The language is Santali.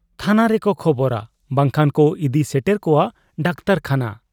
ᱛᱷᱟᱱᱟ ᱨᱮᱠᱚ ᱠᱷᱚᱵᱚᱨᱟ ᱵᱟᱝᱠᱷᱟᱱᱠᱚ ᱤᱫᱤ ᱥᱮᱴᱮᱨ ᱠᱚᱣᱟ ᱰᱟᱠᱴᱚᱨ ᱠᱷᱟᱱᱟ ᱾